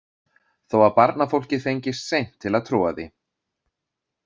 Þó að barnafólkið fengist seint til að trúa því.